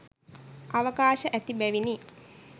අවකාශ ඇති බැවිනි.